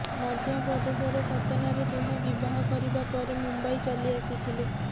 ମଧ୍ୟପ୍ରଦେଶର ସତନାରେ ଦୁହେଁ ବିବାହ କରିବା ପରେ ମୁମ୍ବାଇ ଚାଲି ଆସିଥିଲେ